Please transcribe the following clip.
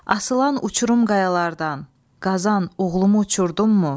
Asılan uçurum qayalardan, Qazan, oğlumu uçurdunmu?